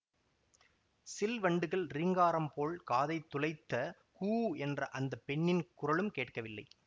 சில் வண்டுகள் ரீங்காரம் போல் காதைத் துளைத்த கூ என்ற அந்த பெண்ணின் குரலும் கேட்கவில்லை